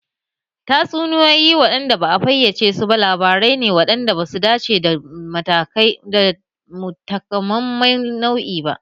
Tatsuniyoyi da ba a fayyace su ba labarai ne waɗanda ba su dace da takamaiman nau'i ba.